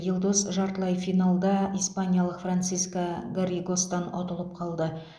елдос жартылай финалда испаниялық франциско гарригостан ұтылып қалды